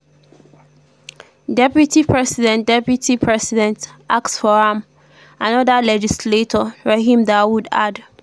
[deputy president] [deputy president] ask for am” anoda legislator rahim dawood add.